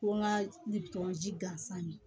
Ko n ka nin tɔgɔ ji gansan ye